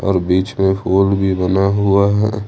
और बीच में फूल भी बना हुआ है।